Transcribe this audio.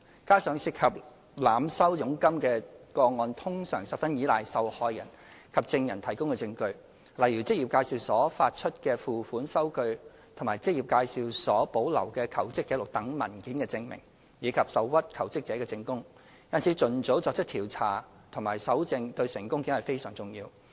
加上涉及濫收佣金的個案通常十分依賴受害人及證人提供的證據，例如職業介紹所發出的付款收據及職業介紹所保留的求職紀錄等文件證明，以及受屈求職者的證供，因此盡早作出調查和搜證對成功檢控非常重要。